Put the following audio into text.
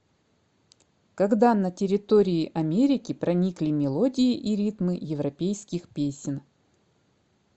когда на территории америки проникли мелодии и ритмы европейских песен